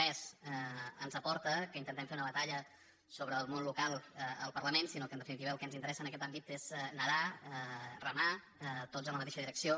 res ens aporta que intentem fer una batalla sobre el món local al parlament sinó que en definitiva el que ens interessa en aquest àmbit és nedar remar tots en la mateixa di·recció